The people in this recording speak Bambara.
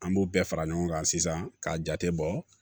An b'o bɛɛ fara ɲɔgɔn kan sisan k'a jate bɔ